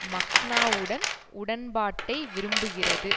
மக்னாவுடன் உடன்பாட்டை விரும்புகிறது